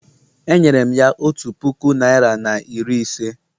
Enyere m ya otu puku naịra na iri ise